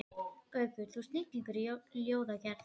Lóa Lóa sá að hún var að horfa á peysurnar strákanna.